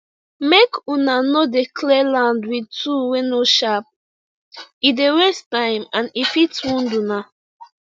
make una no dey clear land with tool wey no sharp e dey waste time and e fit wound una